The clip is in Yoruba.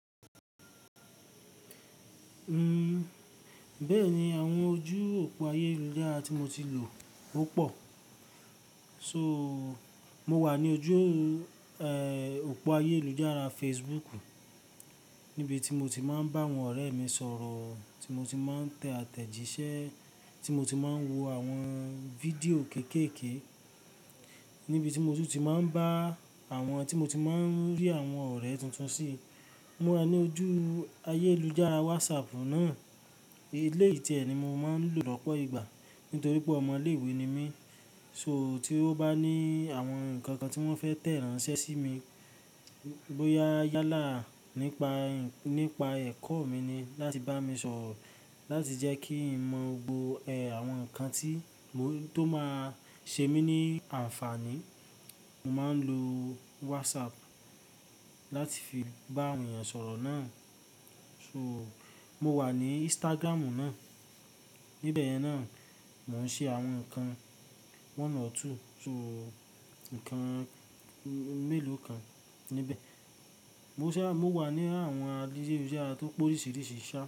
Uhm, bẹ́ẹ̀ni, àwọn ojú òpó ayélujára tí mo ti lò ó pọ̀. So, mo wà ní ojú, eh, òpó ayélujára Facebook, níbi tí mo ti máa ń bá àwọn ọ̀rẹ́ mi sọ̀rọ̀, tí mo ti máa ń tẹ àtẹ̀jíṣẹ́, tí mo ti máa ń wo àwọn fídíò kéékèèké, níbi tí mo tún ti máa ń bá àwọn tí mo ti máa ń rí àwọn ọ̀rẹ́ tùntùn sí. Mo wà ní ojú ayélujára WhatsApp náà. Ilé ìtẹ̀sími mo máa ń lò lọ́pọ̀ ìgbà nítorí pé ọmọ ilé ìwé ni mí. So tí wó bá ní àwọn nǹkàn kàn tí wọ́n fẹ́ tẹ̀ránṣẹ́ sí mi, bóyá yálà nípa, nípa ẹ̀kọ́ mi ni, láti bá mi sọ̀rọ̀, láti jẹ́ kí ń mọ̀ gbògbò, ẹ, àwọn nǹkan tí tó máa ṣe mí ní àǹfààní, mo máa ń lo WhatsApp láti fi bá ènìyàn sọ̀rọ̀ náà. So, mo wà ní Instagram náà. Níbẹ̀ yẹn náà, mò ń ṣe àwọn nǹkan one or two. So, nǹkan mélòó kan níbẹ̀. Mo ṣá, mo wà ní àwọn àdíṣẹ́yẹsára tó pọ̀ lórí sìírí sìí ṣá.